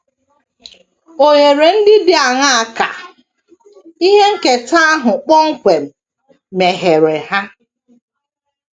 Ohere ndị dị aṅaa ka ihe nketa ahụ kpọmkwem megheere ha?